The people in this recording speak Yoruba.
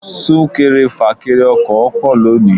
Súnkẹrẹ fà kẹrẹ ọkọ̀ pọ̀ lónìí.